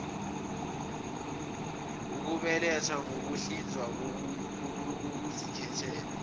ukubeletha ngokuhlinzwa kokuzikhethela